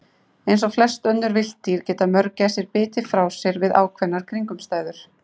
Eins og flest önnur villt dýr geta mörgæsir bitið frá sér við ákveðnar kringumstæður.